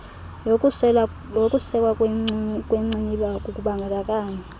yokusekwa kwecma kukubandakanya